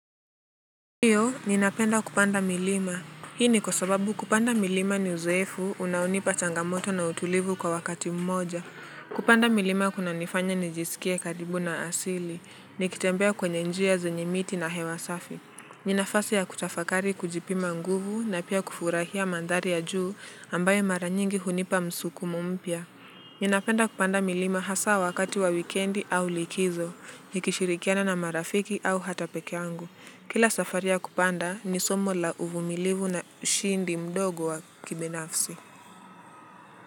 Ndiyo, ninapenda kupanda milima. Hii ni kwa sababu kupanda milima ni uzoefu, unaonipa changamoto na utulivu kwa wakati mmoja. Kupanda milima kunanifanya nijisikie karibu na asili, nikitembea kwenye njia zenye miti na hewa safi. Ni nafasi ya kutafakari kujipima nguvu na pia kufurahia mandhari ya juu ambayo mara nyingi hunipa msukumo mpya. Ninapenda kupanda milima hasaa wakati wa wikendi au likizo, nikishirikiana na marafiki au hata pekee yangu. Kila safari ya kupanda ni somo la uvumilivu na ushindi mdogo wa kibinafsi.